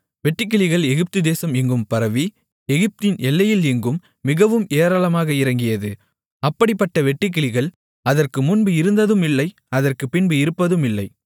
வெட்டுக்கிளிகள் எகிப்து தேசம் எங்கும் பரவி எகிப்தின் எல்லையில் எங்கும் மிகவும் ஏராளமாக இறங்கியது அப்படிப்பட்ட வெட்டுக்கிளிகள் அதற்கு முன்பு இருந்ததும் இல்லை அதற்குப்பின்பு இருப்பதும் இல்லை